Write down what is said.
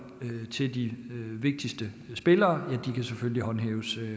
til de vigtigste spillere kan håndhæves